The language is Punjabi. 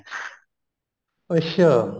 ਅੱਛਾ